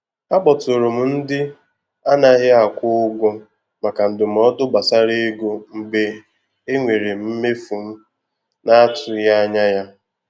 Akpọtụrụ m ndị anaghị akwụ ụgwọ maka ndụmọdụ gbasara ego mgbe enwere m mmefu m na-atụghị anya ya.